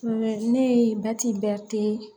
ne ye